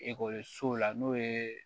Ekɔlisow la n'o ye